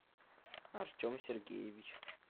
артем сергеевич